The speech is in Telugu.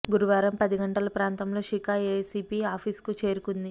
గురువారం పది గంటల ప్రాంతంలో శిఖా ఎసిపి ఆఫీస్ కు చేరుకుంది